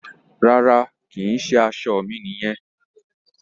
Rárá, kì í ṣe aṣọ mi nìyẹn.